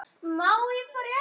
Hvað á hann að halda?